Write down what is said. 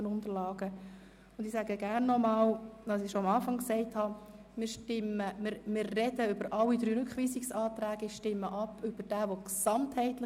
Wir beraten alle drei Rückweisungsanträge und stimmen über denjenigen ab, der eine gesamthafte Rückweisung will.